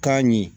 K'a ɲɛ